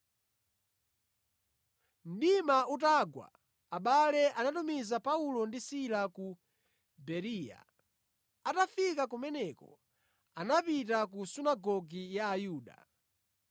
Mdima utagwa, abale anatumiza Paulo ndi Sila ku Bereya. Atafika kumeneko anapita ku sunagoge ya Ayuda.